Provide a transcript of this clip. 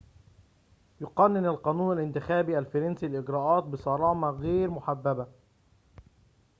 يقنن القانون الانتخابي الفرنسي الإجراءات بصرامة غير محببة